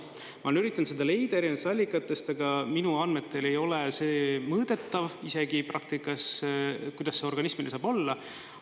Ma olen üritanud seda leida erinevatest allikatest, aga minu andmetel ei ole see mõõdetav isegi praktikas, kuidas see organismile saab olla.